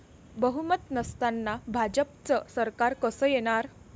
बहुमत नसताना भाजपच सरकार कसं येणार?